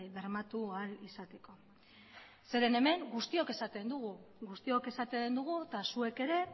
bermatu ahal izateko hemen guztiok esaten dugu eta zuek ere